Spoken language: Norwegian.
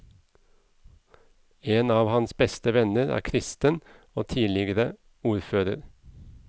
En av hans beste venner er kristen og tidligere ordfører.